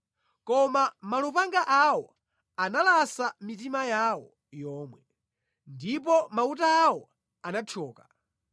Koma malupanga awo analasa mitima yawo yomwe, ndipo mauta awo anathyoka.